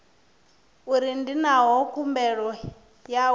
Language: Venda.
uri ndi ngani khumbelo yawe